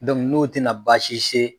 n'o tɛna basi se